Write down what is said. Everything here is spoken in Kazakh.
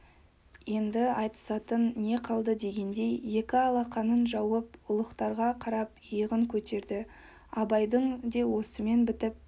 енді айтысатын не қалды дегендей екі алақанын жазып ұлықтарға қарап иығын көтерді абайдың де осымен бітіп